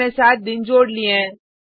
हमने सात दिन जोड़ लिए हैं